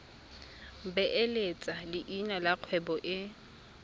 beeletsa leina la kgwebo e